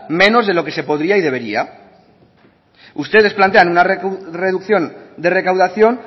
menos de lo que se podría y debería ustedes plantean una reducción de recaudación